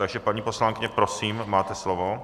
Takže paní poslankyně, prosím, máte slovo.